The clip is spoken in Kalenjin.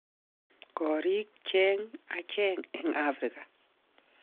Korik cheng acheng eng afrika